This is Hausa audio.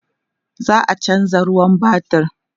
za'a chanza ruwan batir